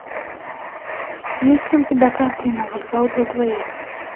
есть ли у тебя картина вокзал для двоих